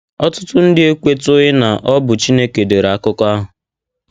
Ọtụtụ ndị ekwetụghị na ọ bụ Chineke dere akụkọ ahụ.